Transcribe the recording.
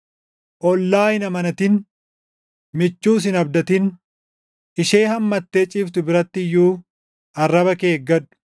Ollaa hin amanatin; michuus hin abdatin. Ishee hammattee ciiftu biratti iyyuu arraba kee eeggadhu.